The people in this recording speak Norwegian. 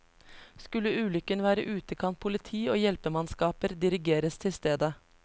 Skulle ulykken være ute kan politi og hjelpemannskaper dirigeres til stedet.